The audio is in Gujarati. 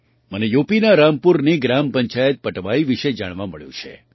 મને યુપીના રામપુરની ગ્રામ પંચાયત પટવાઈ વિશે જાણવા મળ્યું છે